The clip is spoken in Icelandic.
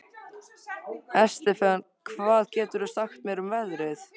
Estefan, hvað geturðu sagt mér um veðrið?